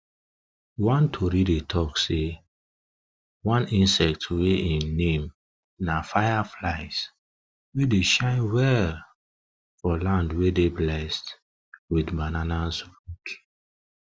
one tori dey talk sey one insect wey em name na fireflies dey shine well for land wey dey blessed with banana roots